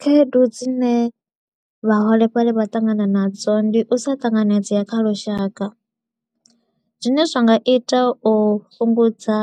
Khaedu dzine vhaholefhali vha ṱangana nadzo, ndi u sa tanganedzea kha lushaka. Zwine zwa nga ita u fhungudza